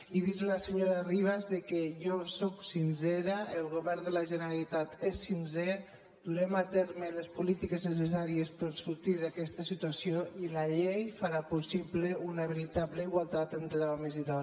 i dir·li a la senyora ribas que jo sóc sincera el govern de la generalitat és sincer durem a terme les políti·ques necessàries per sortir d’aquesta situació i la llei farà possible una veritable igualtat entre homes i dones